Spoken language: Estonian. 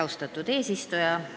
Austatud eesistuja!